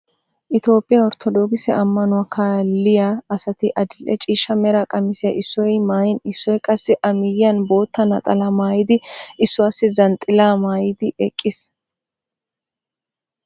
Itoophphiyaa orttodookise ammanuwaa kaaliiyaa asati adil"e ciishsha mera qamisiyaa issoy maayin issoy qassi a miyiyaan bootta naxalaa maayidi issuwaasi zanxilaa maayidi eqiis.